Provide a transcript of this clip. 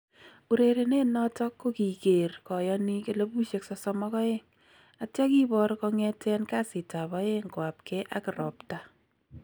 Urerenet noton kokikeer kayaniik 32,000,atyaa kiboor kongeten kasitab aeng koabkee ak robtaa.